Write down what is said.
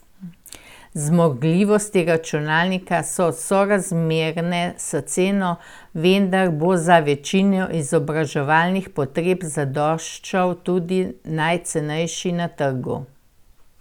Zmogljivosti računalnika so sorazmerne s ceno, vendar bo za večino izobraževalnih potreb zadoščal tudi najcenejši na trgu.